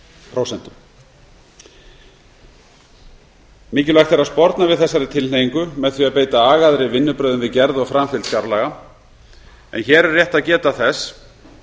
prósent mikilvægt er að sporna við þessari tilhneigingu með því að beita agaðri vinnubrögðum við gerð og framfylgd fjárlaga hér er rétt að geta þess